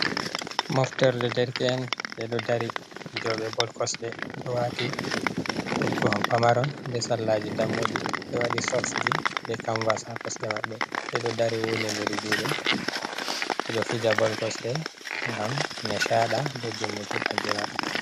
Moftorde derke’en ɓe ɗo dari fijoɓe bol kosɗe ɗo wati toggoha pamaron be sarlaji dammuɗi ɓe waɗi soks ji be kamvas ha kosɗe maɓɓe. Ɓe ɗo dari wudindir juɗe, ɓe ɗo fija bol kosɗe ngam nishaɗa be dimbuki baldi maɓɓe.